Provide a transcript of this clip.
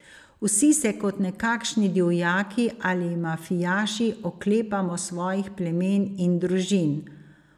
Vsi se kot nekakšni divjaki ali mafijaši oklepamo svojih plemen in družin.